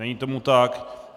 Není tomu tak.